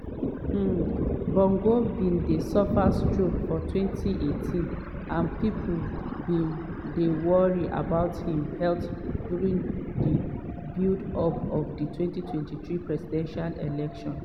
um bongo bin suffer stroke for 2018 and pipo bin dey worried about im health during di build-up to di 2023 presidential election.